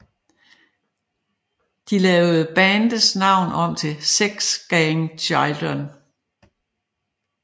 De lavede bandets navn om til Sex Gang Children